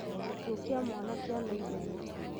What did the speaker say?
(Gĩkuũ kĩa Mwana kĩa na Ihenya).